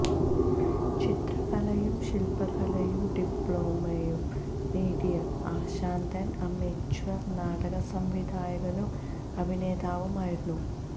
ചിത്രകലയിലും ശില്പകലയിലും ഡിപ്ലോമ നേടിയ അശാന്തൻ അമേച്വർ നാടക സംവിധായകനും അഭിനേതാവും ആയിരുന്നു